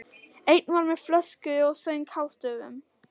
Einn var með flösku og söng hástöfum.